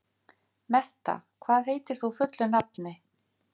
Metta, hvað heitir þú fullu nafni?